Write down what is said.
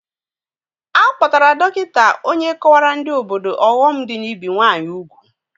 A kpọtara dọkịta onye kọwaara ndị obodo ọghọm dị n'ibi nwanyị úgwù